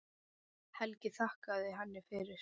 Helgi þakkaði henni fyrir.